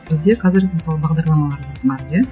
бізде қазір мысалы бағдарламалар бар иә